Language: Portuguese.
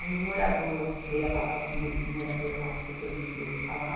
Aí o morador, dei a palavra primeiro para um morador lá do setor vinte e dois falar.